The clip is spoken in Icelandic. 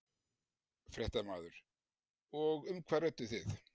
Fréttamaður: Og um hvað rædduð þið?